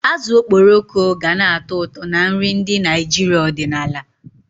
Azụ okporoko gana-atọ ụtọ na nri ndị Naijiria ọdịnala